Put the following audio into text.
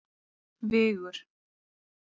Vigur